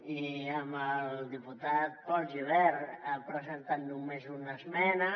i el diputat pol gibert ha presentat només una esmena